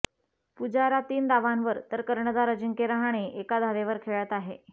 पुजारा तीन धावांवर तर कर्णधार अजिंक्य रहाणे एका धावेवर खेळत आहे